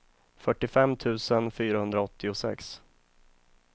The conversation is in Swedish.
fyrtiofem tusen fyrahundraåttiosex